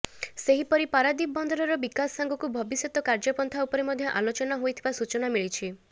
ସେହିପରି ପାରାଦୀପ ବନ୍ଦରର ବିକାଶ ସାଙ୍ଗକୁ ଭବିଷ୍ୟତ କାର୍ଯ୍ୟପନ୍ଥା ଉପରେ ମଧ୍ୟ ଆଲୋଚନା ହୋଇଥିବା ସୂଚନା ମିଳିଛି